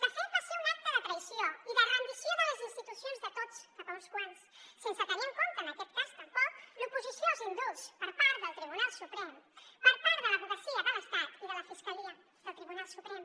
de fet va ser un acte de traïció i de rendició de les institucions de tots cap a uns quants sense tenir en compte en aquest cas tampoc l’oposició als indults per part del tribunal suprem per part de l’advocacia de l’estat i de la fiscalia del tribunal suprem